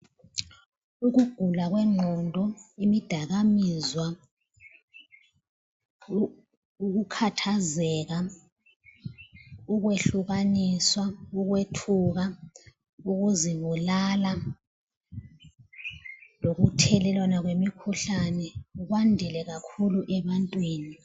Ukugula kwengqondo, imidaka kamizwa, ukukhathazeka, ukwehlukaniswa, ukwethuka, ukuzibulala lokuthelelwana kwemikhuhlane kwandile kakhulu ebantwini